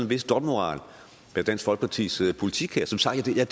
vis dobbeltmoral bag dansk folkepartis politik her som sagt deler